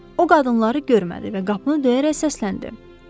O qadınları görmədi və qapını döyərək səsləndi: